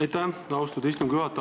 Aitäh, austatud istungi juhataja!